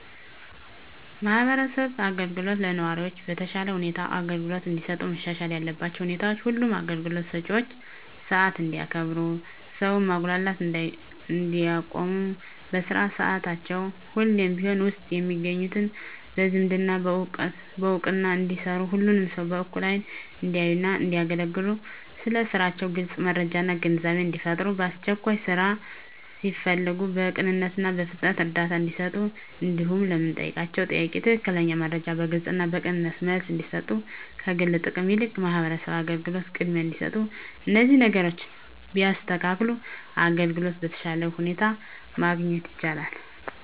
የማህበረሰብ አገልግሎቶች ለነዋሪዎች በተሻለ ሁኔታ አገልግሎት እንዲሰጡ መሻሻል ያለባቸው ሁኔታዎች ሁሉም አገልግሎት ሰጭዎች ሰዓት እንዲያከብሩ ሰውን ማጉላላት እንዲያቆሙ በስራ ሰዓታቸው ሁሌም ቢሮ ውስጥ እንዲገኙ በዝምድና በእውቅና እንዳይሰሩ ሁሉንም ሰው በእኩል አይን እንዲያዩና እንዲያገለግሉ ስለ ስራቸው ግልጽ መረጃና ግንዛቤን እንዲፈጥሩ ለአስቸኳይ ስራ ሲፈለጉ በቅንነትና በፍጥነት እርዳታ እንዲሰጡ እንዲሁም ለምንጠይቃቸው ጥያቄ ትክክለኛ መረጃ በግልጽና በቅንነት መልስ እንዲሰጡ ከግል ጥቅም ይልቅ ለማህበረሰቡ አገልግሎት ቅድሚያ እንዲሰጡ እነዚህን ነገሮች ቢያስተካክሉ አገልግሎት በተሻለ ሁኔታ ማግኘት ይቻላል።